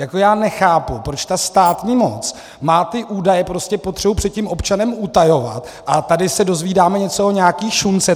Jako já nechápu, proč ta státní moc má ty údaje prostě potřebu před tím občanem utajovat, a tady se dozvídáme něco o nějaké šunce.